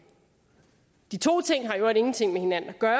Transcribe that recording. de to ting har i øvrigt ingenting med hinanden at gøre